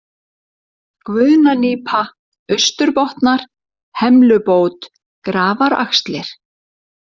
Guðnanípa, Austurbotnar, Hemlubót, Grafaraxlir